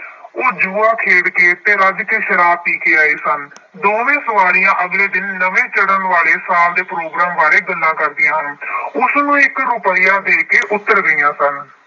ਉਹ ਜੂਆ ਖੇਡ ਕੇ ਅਤੇ ਰੱਜ ਕੇ ਸ਼ਰਾਬ ਪੀ ਕੇ ਆਏ ਸਨ। ਦੋਵੇਂ ਸਵਾਰੀਆਂ ਅਗਲੇ ਦਿਨ ਨਵੇਂ ਚੜ੍ਹਨ ਵਾਲੇ ਸਾਲ ਦੇ ਪ੍ਰੋਗਰਾਮ ਬਾਰੇ ਗੱਲਾਂ ਕਰਦੀਆਂ ਹਨ। ਉਸਨੂੰ ਇੱਕ ਰੁਪਇਆ ਦੇ ਕੇ ਉੱਤਰ ਗਈਆਂ ਸਨ।